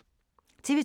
TV 2